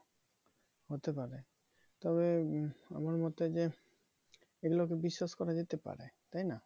হতে পারে তবে আমার মতে যে এগুলো কে বিশ্বাস করা যেতে পারে তাই না?